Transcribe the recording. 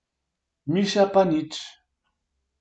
Miša pa nič!